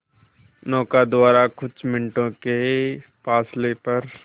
नौका द्वारा कुछ मिनटों के फासले पर